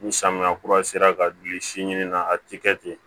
Ni samiya kura sera ka gili si ɲini na a ti kɛ ten